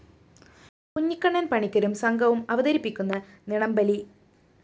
കുഞ്ഞിക്കണ്ണന്‍ പണിക്കരും സംഘവും അവതരിപ്പിക്കുന്ന നിണബലി